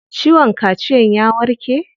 Ciwon kaciyan ya warke?